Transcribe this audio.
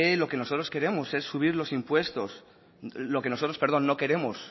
lo que nosotros no queremos es subir los impuestos o no queremos